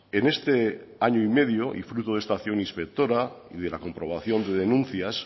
en este año y medio y fruto de esta acción inspectora y de la comprobación de denuncias